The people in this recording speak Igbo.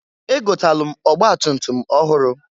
Egotalụ m ọgbatutum ọhụrụ.